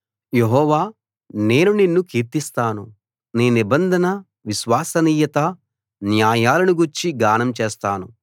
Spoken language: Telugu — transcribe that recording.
యెహోవా నేను నిన్ను కీర్తిస్తాను నీ నిబంధన విశ్వసనీయత న్యాయాలను గూర్చి గానం చేస్తాను